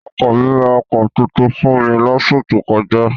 Ọkọ mi ra ọkọ̀ tuntun fún mi lóṣù tó kọjá.